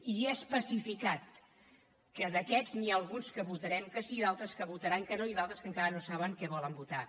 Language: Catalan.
i he especificat que d’aquests n’hi ha alguns que votarem que sí d’altres que votaran que no i d’altres que encara no saben què volen votar